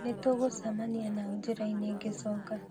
Nĩtũgũcamania nao njĩra-inĩ ngĩcoka